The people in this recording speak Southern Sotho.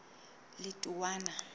letowana